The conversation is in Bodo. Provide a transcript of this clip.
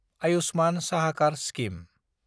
आयुष्मान साहाकार स्किम